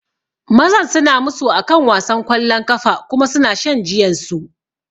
Mazan suna musu akan wasan kwallon kafa kuma suna shan jiyansu